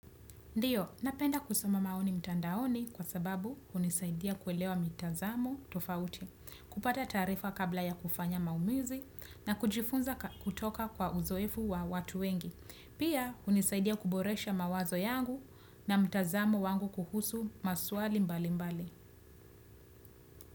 Ndiyo, napenda kusoma maoni mtandaoni kwa sababu hunisaidia kuelewa mitazamo tofauti, kupata taarifa kabla ya kufanya maumizi na kujifunza kutoka kwa uzoefu wa watu wengi. Pia hunisaidia kuboresha mawazo yangu na mtazamu wangu kuhusu maswali mbali mbali.